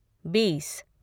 बीस